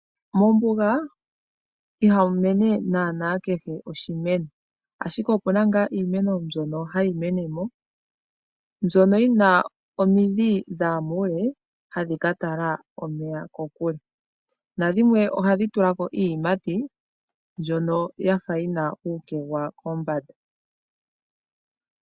Mombuga iha mu mene kehe oshimeno ashike opu na iimeno mbyono hayi menemo mbyoka yi na omidhi dhaya muule hadhi ka tala omeya kokule na dhimwe ohadhi tulako iiyimati mbyoka ya fa yi na uukegwa kombanda.